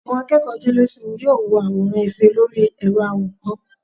àwọn akeeko jelésímí, yóò wọ aworan efe Lori ẹrọ aworán